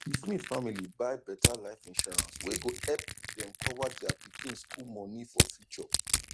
d smith family buy better life insurance wey go epp dem cover dia pikin school moni for future